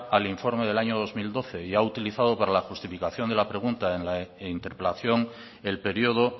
al informe del año dos mil doce y ha utilizada para la justificación de la pregunta en la interpelación el periodo